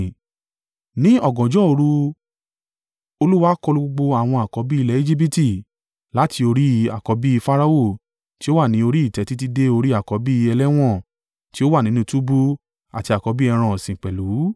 Ní ọ̀gànjọ́ òru Olúwa kọlu gbogbo àwọn àkọ́bí ilẹ̀ Ejibiti, láti orí àkọ́bí. Farao tí ó wà ní orí ìtẹ́ títí dé orí àkọ́bí ẹlẹ́wọ̀n tí ó wà nínú túbú àti àkọ́bí ẹran ọ̀sìn pẹ̀lú.